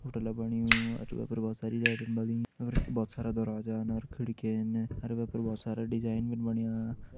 होटला बण्युं और वे पर भोत सारी लैटन बलीं और वख भोत सारा दरवाजान अर खिड़किन अर वे पर भोत सारा डिज़ाइन भिन बण्यां।